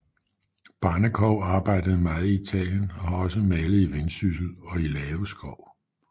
Barnekow arbejdede meget i Italien og har også malet i Vendsyssel og i Lave Skov